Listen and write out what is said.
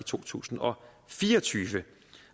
to tusind og fire og tyve